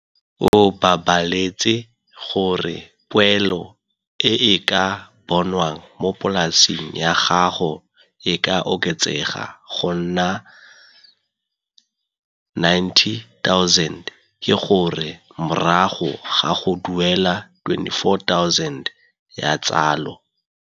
O balabaletse gore poelo e e ka bonwang mo polaseng ya gago e ka oketsega go nna R90 000, ke gore morago ga go duela R24 000 ya tsalo.